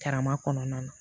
Karama kɔnɔna na